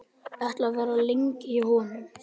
Ætlarðu að vera lengi hjá honum?